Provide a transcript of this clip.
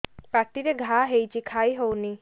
ପାଟିରେ ଘା ହେଇଛି ଖାଇ ହଉନି